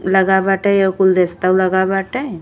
लगा बाटे और गुलदस्तो लगा बाटे।